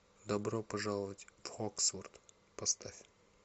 добро пожаловать в хоксфорд поставь